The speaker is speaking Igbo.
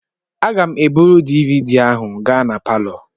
Aga m eburu DVD ahụ gaa na palọ.